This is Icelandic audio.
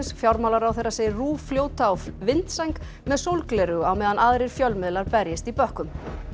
fjármálaráðherra segir RÚV fljóta á vindsæng með sólgleraugu á meðan aðrir fjölmiðlar berjist í bökkum